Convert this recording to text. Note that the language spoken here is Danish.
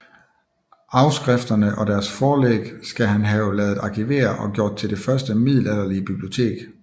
Afskrifterne og deres forlæg skal han have ladet arkivere og gjort til det første middelalderlige bibliotek